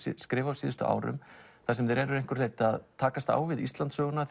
skrifa síðustu ár þar sem þeir eru að einhverju leyti að takast á við Íslandssöguna